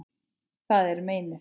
Það er meinið.